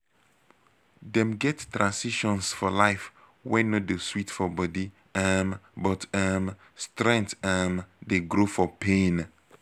dem get transitions for life wey no dey sweet for body um but um strength um dey grow for pain